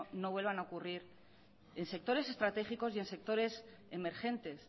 no vuelvan a ocurrir en sectores estratégicos y en sectores emergentes